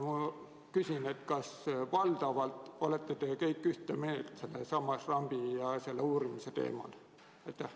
Kas te valdavalt olete kõik ühte meelt rambi ja kogu selle uurimise küsimuses?